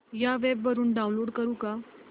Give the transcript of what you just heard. या वेब वरुन डाऊनलोड करू का